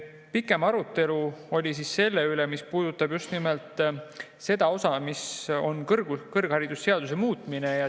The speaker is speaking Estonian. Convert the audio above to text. Pikem arutelu oli selle üle, mis puudutab just nimelt kõrgharidusseaduse muutmist.